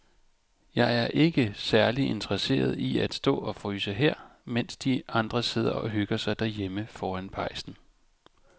Jeg er ikke særlig interesseret i at stå og fryse her, mens de andre sidder og hygger sig derhjemme foran pejsen.